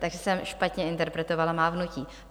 Takže jsem špatně interpretovala mávnutí.